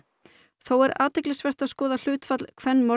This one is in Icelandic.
þó er athyglisvert að skoða hlutfall